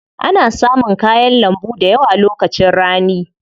Ana samun kayan lambu dayawa lokacin rani.